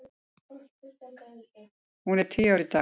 Hún er tíu ára í dag.